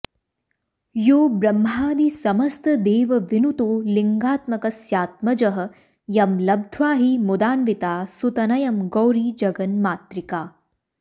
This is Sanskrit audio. योब्रह्मादि समस्त देवविनुतो लिङ्गात्मकस्यात्मजः यंलब्ध्वा हि मुदान्विता सुतनयं गौरी जगन्मातृका